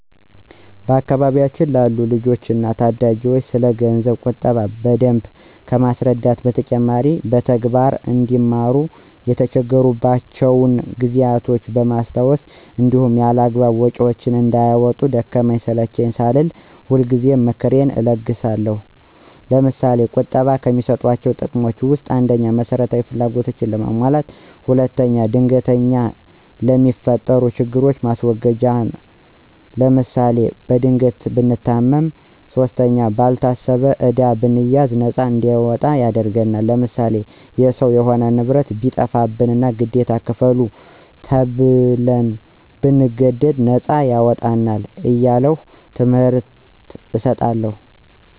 በአካባቢያችን ላሉ ልጆች እና ታዳጊዎች ስለገንዘብ ቁጠባ በደንብ ከማስረዳት በተጨማሪ በተግባር አንዲማሩ የተቸገሩባቸውን ጊዜያቶች በማስታወስ እንዲሁም ያላግባብ ወጭዎችን እንዳያወጡ ደከመኝ ሰለቼኝ ሳልል ሁልጊዜ ምክሬን እለግሳለሁ። ለምሳሌ፦ ቁጠባ ከሚሰጡት ጥቅሞች ውስጥ፦ ፩) መሰረታዊ ፍላጎታችንን ለማሟላት። ፪) ድንገተኛ ለሚፈጠሩብን ችግሮች ማስወገጃ ለምሳሌ፦ በድንገት ብንታመም ፫) ባልታሰበ ዕዳ ብንያዝ ነፃ እንድንወጣ ያደርግናል። ለምሳሌ፦ የሰው የሆነ ንብረት ቢጠፋብንና ግዴታ ክፈሉ ተብን ብንገደድ ነፃ ያወጣናል። እያልሁ ትምህርት እሰጣለሁ።